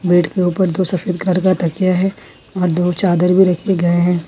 Bed के ऊपर दो सफेद कलर की तकिया है और दो चादर भी रखे गए हैं।